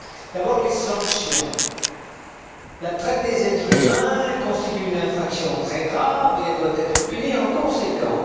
D'abord les sanctions la traite des êtres humains constitue une infraction très grave, et elle doit être punie en conséquence.